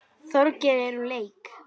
Þorgeir er úr leik.